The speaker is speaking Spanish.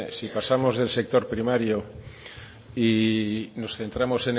si pasamos del sector primario y nos centramos